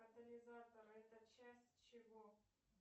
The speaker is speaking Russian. катализатор это часть чего